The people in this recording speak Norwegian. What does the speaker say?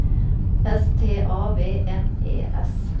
S T A V N E S